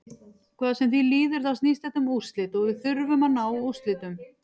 Hvað sem því líður þá snýst þetta um úrslit og við þurfum að ná úrslitum.